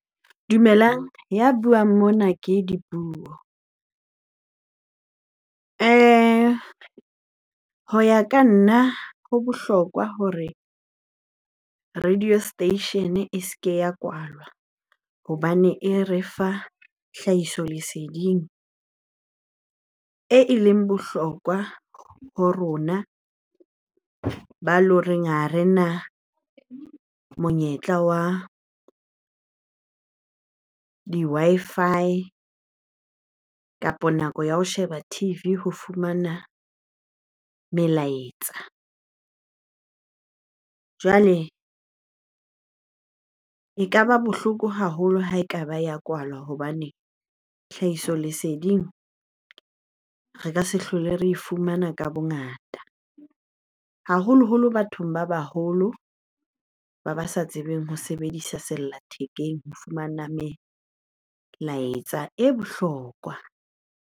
Dumelang, ya buang mona ke Dipuo. Ho ya ka nna ho bohlokwa hore radio station e se ke ya kwalwa hobane e re fa hlahiso leseding eleng bohlokwa ho rona ba eleng hore ha rena monyetla wa ng di-Wi-Fi kapa nako ya ho sheba T_V ho fumana melaetsa. Jwale ekaba bohloko haholo ha ekaba ya kwalwa hobane tlhahiso leseding re ka se hlole re e fumana ka bongata. Haholoholo bathong ba baholo ba ba sa tsebeng ho sebedisa sella thekeng ho fumana melaetsa e bohlokwa.